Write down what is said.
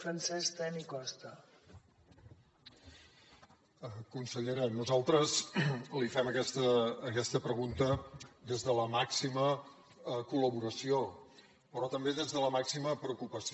consellera nosaltres li fem aquesta pregunta des de la màxima col·laboració però també des de la màxima preocupació